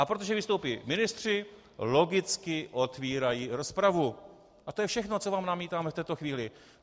A protože vystoupí ministři, logicky otevírají rozpravu a to je všechno, co vám namítáme v této chvíli.